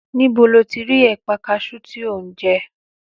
Níbo lo ti ẹ̀pà kaṣú tí o ń jẹ?